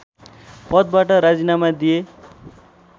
पदबाट राजिनामा दिए